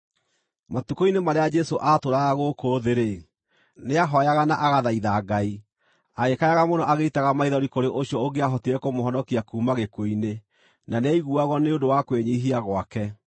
Matukũ-inĩ marĩa Jesũ aatũũraga gũkũ thĩ-rĩ, nĩahooyaga na agathaitha Ngai, agĩkayaga mũno agĩitaga maithori kũrĩ ũcio ũngĩahotire kũmũhonokia kuuma gĩkuũ-inĩ, na nĩaiguagwo nĩ ũndũ wa kwĩnyiihia gwake.